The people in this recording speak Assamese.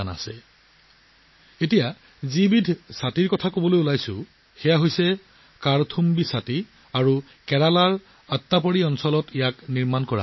কিন্তু মই কোৱা ছাতিটো হ'ল 'কাৰ্থুম্বি ছাতি' আৰু কেৰেলাৰ আট্টাপাডিত সেইবোৰ প্ৰস্তুত কৰা হয়